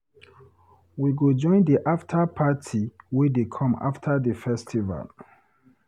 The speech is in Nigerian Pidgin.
We go join di afta party wey dey come after di festival.